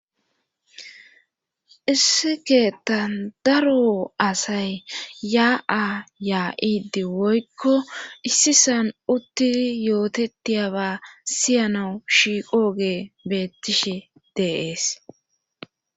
issi keettan daro asay yaa7a yaa7idi woykko issisan uttidi yootettiyaba siyanawu shiiqo gee beettishi de'ees